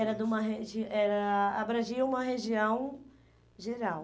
Era de uma regi era abrangia uma região geral.